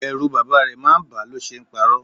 Ẹrù bàbá rẹ̀ máa ń ba a lo ṣe ń paro.